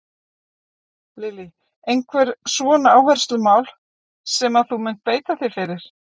Lillý: Einhver svona áherslumál sem að þú munt beita þér fyrir?